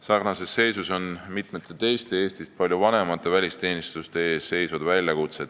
Sarnases seisus on mitmed teised, Eestist palju vanemad välisteenistused.